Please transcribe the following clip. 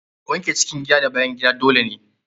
Wanke cikin gida da bayan gida dole ne.